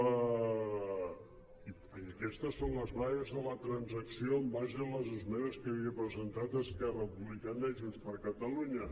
i aquestes són les bases de la transacció en base a les esmenes que havien presentat esquerra republicana i junts per catalunya